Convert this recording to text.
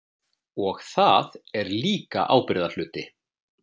Og það er líka ábyrgðarhluti.